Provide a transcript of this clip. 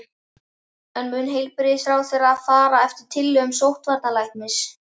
En mun heilbrigðisráðherra fara eftir tillögum sóttvarnalæknis?